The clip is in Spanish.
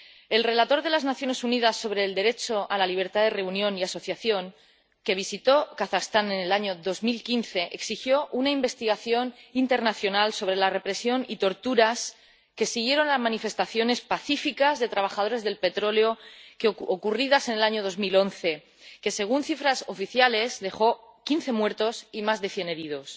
El relator de las Naciones Unidas sobre el derecho a la libertad de reunión y asociación, que visitó Kazajistán en el año 2015, exigió una investigación internacional sobre la represión y las torturas que siguieron a las manifestaciones pacíficas de trabajadores del petróleo ocurridas en el año 2011, que, según cifras oficiales, dejaron quince muertos y más de cien heridos.